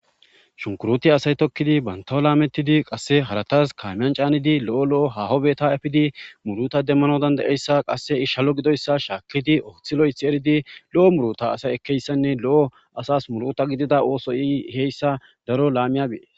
Shunkuruti asay tokkidi bantoo laamettidi qasse haratas kaamiyan caanidi lo'o lo'o hahobeta efidi muruta demmano dandayeyssa qasse ishalo gidoyssa shaakkidi oothi lo'ethi eridi lo'o muruta asay ekkeyssanne lo'o asas muruta gidida ooso i heyssa daro laamiyabee.